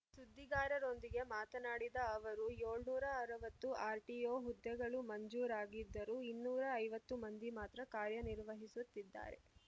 ಸುದ್ದಿಗಾರರೊಂದಿಗೆ ಮಾತನಾಡಿದ ಅವರು ಏಳುನೂರ ಅರವತ್ತು ಆರ್‌ಟಿಒ ಹುದ್ದೆಗಳು ಮಂಜೂರಾಗಿದ್ದರೂ ಇನ್ನೂರ ಐವತ್ತು ಮಂದಿ ಮಾತ್ರ ಕಾರ್ಯ ನಿರ್ವಹಿಸುತ್ತಿದ್ದಾರೆ